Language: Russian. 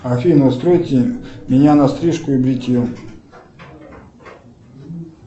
афина настройте меня на стрижку и бритье